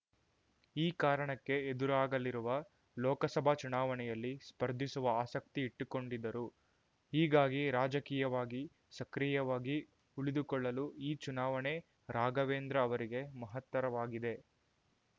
ಈ ಕಾರಣಕ್ಕೆ ಎದುರಾಗಲಿರುವ ಲೋಕಸಭಾ ಚುನಾವಣೆಯಲ್ಲಿ ಸ್ಪರ್ಧಿಸುವ ಆಸಕ್ತಿ ಇಟ್ಟುಕೊಂಡಿದ್ದರು ಹೀಗಾಗಿ ರಾಜಕೀಯವಾಗಿ ಸಕ್ರಿಯವಾಗಿ ಉಳಿದುಕೊಳ್ಳಲು ಈ ಚುನಾವಣೆ ರಾಘವೇಂದ್ರ ಅವರಿಗೆ ಮಹತ್ತರವಾಗಿದೆ